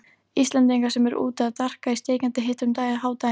Íslendinga sem eru úti að darka í steikjandi hita um hádaginn.